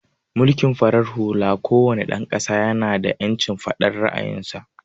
Mulkin farar hula ko wane dan ƙasa ya na da ƴancin faɗan ra'ayin sa